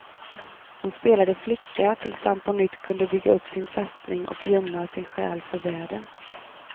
Hon spelade flicka, tills han på nytt kunde bygga upp sin fästning och gömma sin själ för världen.